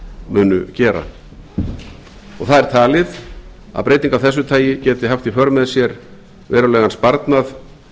munu gera það er talið að breyting af þessu tagi geti haft í för með sér verulegan sparnað